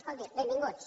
escolti benvinguts